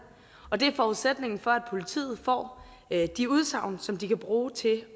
og det er forudsætningen for at politiet får de udsagn som de kan bruge til at